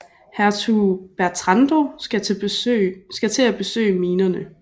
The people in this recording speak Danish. Hertug Bertrando skal til at besøge minerne